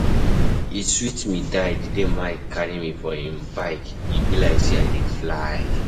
E sweet me die the day Mike carry me for im for im bike, e be like say I dey fly.